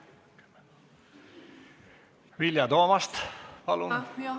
Vilja Toomast, palun!